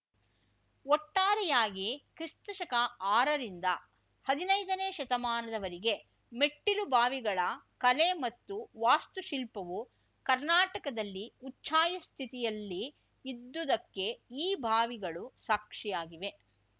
ಒಟ್ಟಾರೆಯಾಗಿ ಕ್ರಿಸ್ತಶಕ ಆರ ರಿಂದ ಹದಿನೈದನೇ ಶತಮಾನದವರೆಗೆ ಮೆಟ್ಟಿಲುಬಾವಿಗಳ ಕಲೆ ಮತ್ತು ವಾಸ್ತುಶಿಲ್ಪವು ಕರ್ನಾಟಕದಲ್ಲಿ ಉಚ್ಛಾಯ ಸ್ಥಿತಿಯಲ್ಲಿ ಇದ್ದುದಕ್ಕೆ ಈ ಬಾವಿಗಳು ಸಾಕ್ಷಿಯಾಗಿವೆ